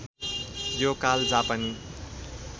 यो काल जापानी